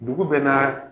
Dugu bɛɛ naa